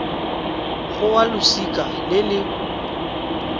go wa losika le le